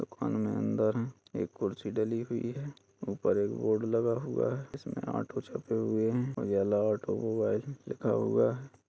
अन अंदर एक कुर्सी डली हुई है। ऊपर एक बोर्ड लगा हुआ है। इसमें ऑटो छपे हुए हैं। उजाला ऑटोमोबाइल लिखा हुआ है।